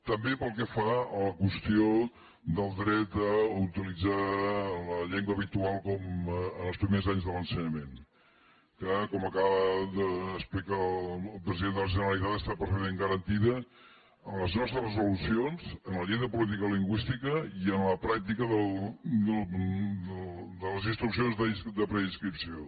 també pel que fa a la qüestió del dret a utilitzar la llengua habitual en els primers anys de l’ensenyament que com acaba d’explicar el president de la generalitat està perfectament garantida en les nostres resolucions en la llei de política lingüística i en la pràctica de les instruccions de preinscripció